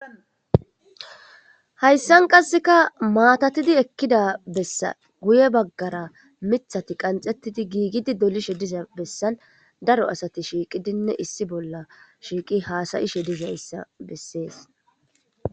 Hayssan qasseka maatatidi ekkida bessa guye baggara miiththati qanxettidi giigidi dolishe diza bessan daro asati shiiqqidinne issi bolla shiiqqi haasayishe dizayssa bessees